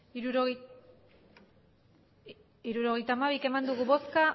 emandako botoak hirurogeita hamabi bai